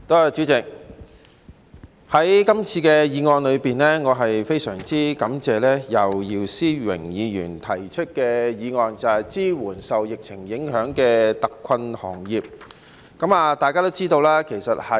主席，我非常感謝姚思榮議員今次提出"支援受疫情影響的特困行業"的議案。